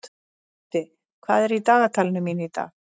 Böddi, hvað er í dagatalinu mínu í dag?